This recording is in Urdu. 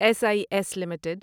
S I S limited